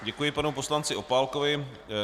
Děkuji panu poslanci Opálkovi.